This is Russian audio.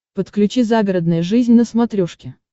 подключи загородная жизнь на смотрешке